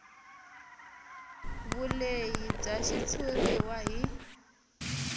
vulehi bya xitshuriwa hi